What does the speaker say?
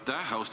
Aitäh!